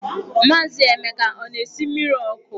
Maazị Emeka ọ na-esi mmiri ọkụ?